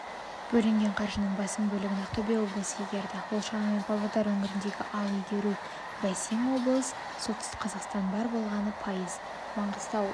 бөлінген қаржының басым бөлігін ақтөбе облысы игерді ол шамамен павлодар өңірінде ал игеруі бәсең облыс солтүстік қазақстан бар болғаны пайыз маңғыстау